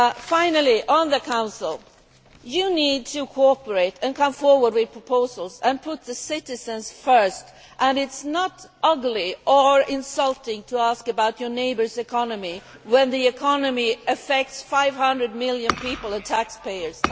Finally, on the Council, you need to cooperate and come forward with proposals and put the citizens first and it is not ugly or insulting to ask about your neighbour's economy when the economy affects 500 million people and taxpayers.